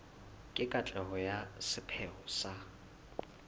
le katleho ya sepheo sa